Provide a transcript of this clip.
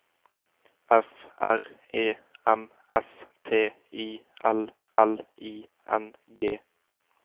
F R E M S T I L L I N G